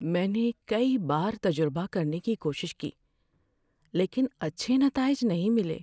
میں نے کئی بار تجربہ کرنے کی کوشش کی لیکن اچھے نتائج نہیں ملے۔